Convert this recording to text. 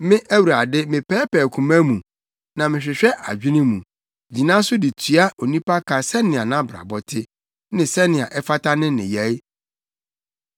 “Me Awurade, mepɛɛpɛɛ koma mu na mehwehwɛ adwene mu, gyina so de tua onipa ka sɛnea nʼabrabɔ te, ne sɛnea ɛfata ne nneyɛe.”